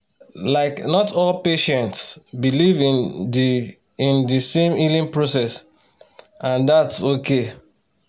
like not all patients believe in the in the same healing process and that’s okay